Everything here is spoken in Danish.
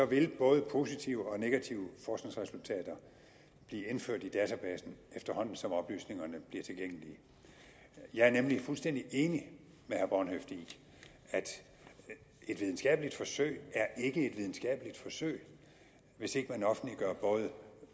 vil både positive og negative forskningsresultater blive indført i databasen efterhånden som oplysningerne bliver tilgængelige jeg er nemlig fuldstændig enig med herre bornhøft i at et videnskabeligt forsøg er et videnskabeligt forsøg hvis ikke man offentliggør både